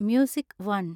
music one